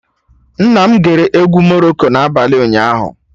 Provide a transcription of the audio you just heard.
Nna m gere egwu Morocco na abalị ụnyaahụ